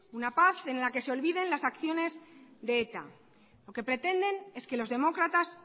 una paz en la que se olviden las acciones de eta lo que pretenden es que los demócratas